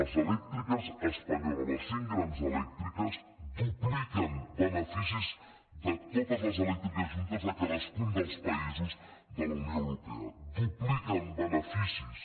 les elèctriques espanyoles les cinc grans elèctriques dupliquen beneficis de totes les elèctriques juntes de cadascun dels països de la unió europea dupliquen beneficis